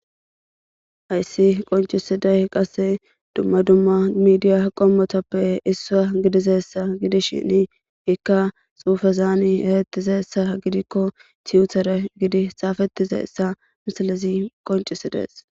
Hayssi qonccisiday qasse dumma dumma miidiya qomatappe issino gididaysa giidishin ikka xufezan eretizaysa gidiko sinthera tuyyitere gidi xafetidayssa missilezi qoncisides.